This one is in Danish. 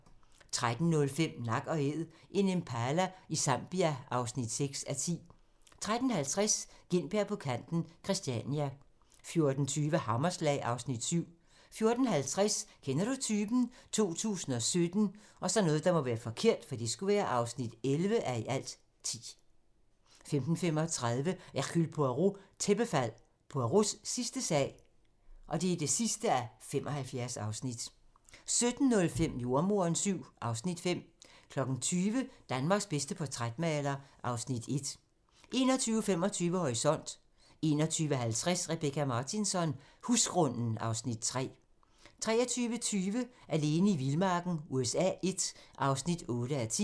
13:05: Nak & Æd - en impala i Zambia (6:10) 13:50: Gintberg på kanten – Christiania 14:20: Hammerslag (Afs. 7) 14:50: Kender du typen? 2017 (11:10) 15:35: Hercule Poirot: Tæppefald - Poirots sidste sag (75:75) 17:05: Jordemoderen VII (Afs. 5) 20:00: Danmarks bedste portrætmaler (Afs. 1) 21:25: Horisont (tir) 21:50: Rebecka Martinsson: Husgrunden (Afs. 3) 23:20: Alene i vildmarken USA I (8:10)